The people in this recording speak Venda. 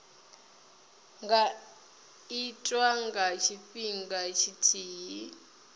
nga itwa nga tshifhinga tshithihi